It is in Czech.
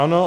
Ano.